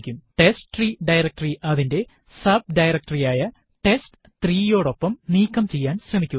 ടെസ്റ്റ്രീ directory അതിന്റെ subdirectory ആയ ടെസ്റ്റ്3 യോടൊപ്പം നീക്കം ചെയ്യാൻ ശ്രമിക്കുക